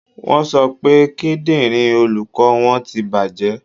Wọ́n sọ pé kíndìnrín olùkọ́ wọn ti bàjẹ́.